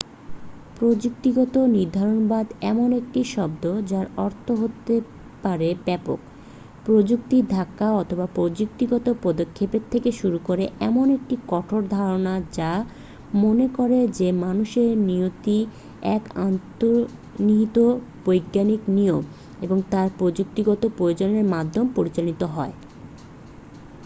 প্রযুক্তিগত নির্ধারণবাদ এমন একটি শব্দ যার অর্থ হতে পারে ব্যাপক প্রযুক্তির ধাক্কা অথবা প্রযুক্তিগত পদক্ষেপ থেকে শুরু করে এমন একটি কঠোর ধারণা যা মনে করে যে মানুষের নিয়তি এক অন্তর্নিহিত বৈজ্ঞানিক নিয়ম এবং তার প্রযুক্তিগত প্রয়োগের মাধ্যমে পরিচালিত হয়